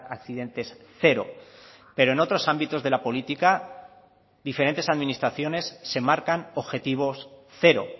accidentes cero pero en otros ámbitos de la política diferentes administraciones se marcan objetivos cero